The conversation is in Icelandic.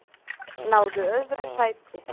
Náðu öðru sæti